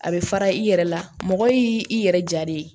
A bɛ fara i yɛrɛ la mɔgɔ y'i i yɛrɛ ja le ye